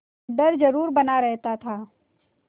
डर जरुर बना रहता था